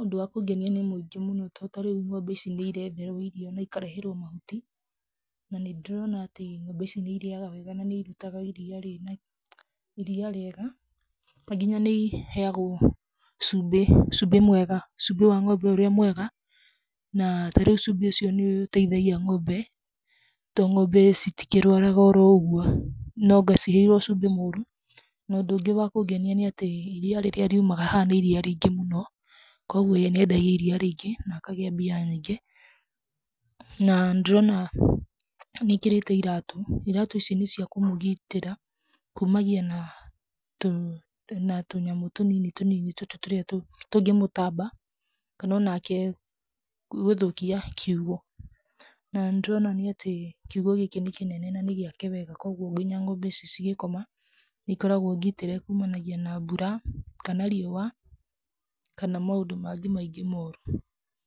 Ũndũ wa kũngenia nĩ mũingĩ mũno to tarĩu ng'ombe ici nĩ iretherwo irio na ikareherwo mahuti, na nĩndĩrona atĩ ng'ombe ici nĩ irĩaga wega na nĩ irutaga iria rĩna, iria rĩega na nginya nĩ iheagwo cumbĩ, cumbĩ mwega, cumbĩ wa ng'ombe ũrĩa mwega, na tarĩu cumbĩ ũcio nĩ ũteithagia ng'ombe to ng'ombe citikĩrwaraga oroũguo, nonga ciheirwo cumbĩ mũũru. No ũndũ ũngĩ wa kũngenia nĩ atĩ iria rĩrĩa riumaga haha nĩ iria rĩingĩ mũno, koguo nĩ endagia iria rĩingĩ na akagĩa mbia nyingĩ. Na nĩndĩrona nĩ ekĩrĩte iratũ, iratũ ici nĩ cia kũmũgitĩra kumagia na tũnyamũ tũnini tũnini tũtũ tũrĩa tũngĩmũtamba kana o nake gũthũkia kiugũ. Na nĩndĩrona atĩ kiugũ gĩkĩ nĩ kĩnene na nĩ gĩake wega, koguo nginya ng'ombe ici cigĩkoma, nĩ ikoragwo ngitĩre kumanagia na mbura kana riũa kana maũndũ mangĩ maingĩ moru.